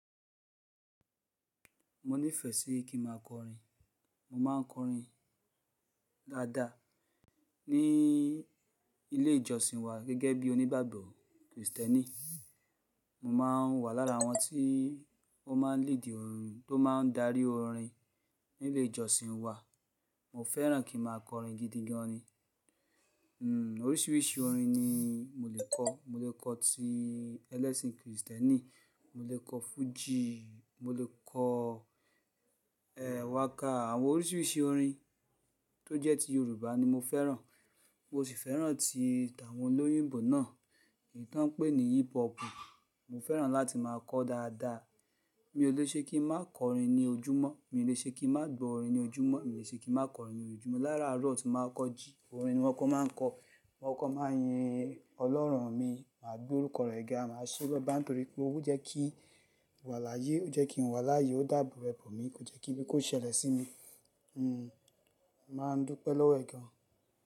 Mo nífẹ̀ẹ́ sí kí máa kọrin. Mo máa ń kọrin dáadáa ní ilé ìjọsìn wa gẹ́gẹ́ bí onígbàgbọ́ kìrìsìtẹ́nì. Mo máa ń wà lára àwọn tí ó máa ń lead orin tó máa ń darí orin nílé ìjọsìn wa. Mo fẹ́ràn kí máa kọrin gidi gan ni. Hmm, oríṣiríṣi orin ni mo lè kọ. Mo lè kọ́ ti ẹlẹ́sìn kìrìsìtẹ́nì, mo lè kọ fújì, mo lè kọ, ẹ, waka. Àwọn oríṣiríṣi orin tó jẹ́ ti Yorùbá ni mo fẹ́ràn. Mo sì fẹ́ràn ti tàwọn olóyìnbo náà, èyí tí wọ́n ń pè ní hip hop. Mo fẹ́ràn láti máa kọ dáadáa. Mi ò lè ṣe kí n má kọrin ní ojúmọ́. Mi ò lè ṣe kí n má gbo orin ní ojúmọ́. Mi ò lè ṣe kí má kọrin ní ojúmọ́. Lára àárọ̀ tí màá kọ jíí, orin ni mọ́ kó máa ń kọ. Mo kó máa yin Ọlọ́run mi, màá gbé orúkọ rẹ̀ gẹ́, màá ṣe lọ́ba, nítorí pé ó jẹ́ kí n wà láyé. Ó jẹ́ kí n wà láyé, ó dàbọ̀ ẹbọ mi. Ko jẹ́ kí bí kò ṣẹlẹ̀ sí mi, hmm, màá dúpẹ́ lọ́wọ́ ẹ̀ gan.